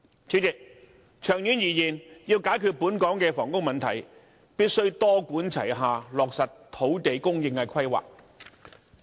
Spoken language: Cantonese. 主席，長遠而言，要解決本港的房屋問題，必須多管齊下，落實土地供應的規劃。